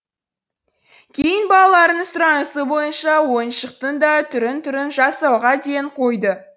кейін балаларының сұранысы бойынша ойыншықтың да түрін түрін жасауға ден қойды